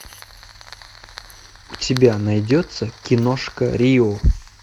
у тебя найдется киношка рио